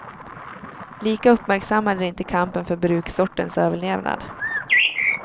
Lika uppmärksammad är inte kampen för bruksortens överlevnad.